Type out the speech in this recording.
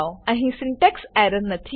અહી syntax error નથી